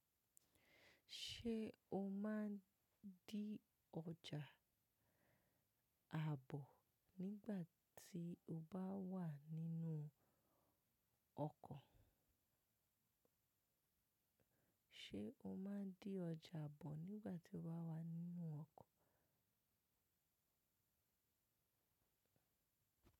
Ṣé o má ń dí ọjà àbo nígbà tí o bá wà nínú ọkọ̀? Ṣé o má ń dí ọjà bọ̀ nígbà tí o wà wá nínú ọkọ̀?